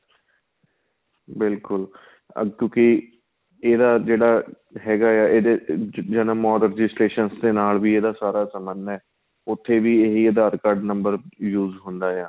ਬਿਲਕੁਲ ਕਿਉਂਕਿ ਇਹਦਾ ਜਿਹੜਾ ਹੈਗਾ ਆਂ ਇਹਦੇ ਜਨਮ ਔਰ registration ਨਾਲ ਵੀ ਸਾਰਾ ਸ੍ਬੰਧ ਏ ਉਥੇ ਵੀ ਇਹ ਹੀ aadhar card number use ਹੁੰਦਾ ਆਂ